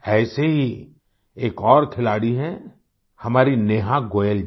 ऐसे ही एक और खिलाड़ी हैं हमारी नेहा गोयल जी